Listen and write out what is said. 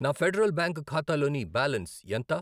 నా Federal Bank ఖాతాలోని balance ఎంత?